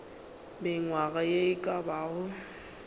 mengwaga ye e ka bago